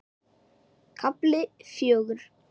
KAFLI FJÖGUR